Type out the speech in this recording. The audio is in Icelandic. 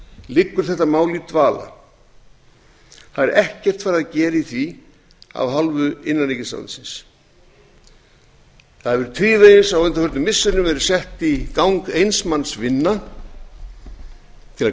liggur þetta mál í dvala það er ekkert farið að gera í því af hálfu innanríkisráðuneytisins það hefur tvívegis á undanförnum missirum verið sett í gang manns vinna til að